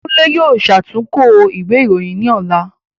Kunle yóò ṣàtúnkọ ìwé ìròyìn ni ọ̀la